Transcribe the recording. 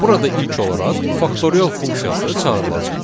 Burada ilk olaraq faktorial funksiyası çağırılacaq.